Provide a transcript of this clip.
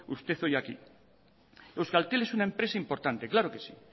usted hoy aquí euskaltel es una empresa importante claro que sí